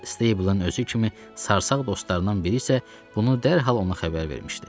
Stable-ın özü kimi sarsaq dostlarından biri isə bunu dərhal ona xəbər vermişdi.